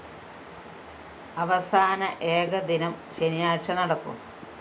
അവസാന ഏകദിനം ശനിയാഴ്ച നടക്കും